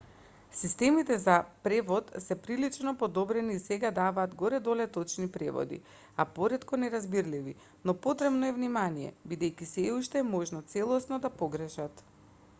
системите за превод се прилично подобрени и сега давааат горе-долу точни преводи а поретко неразбирливи но потребно е внимание бидејќи сѐ уште е можно целосно да погрешат